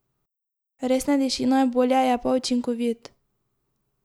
Res ne diši najbolje, je pa učinkovit.